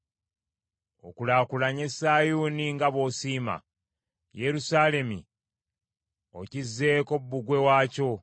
Okulaakulanye Sayuuni nga bw’osiima. Yerusaalemi okizzeeko bbugwe waakyo.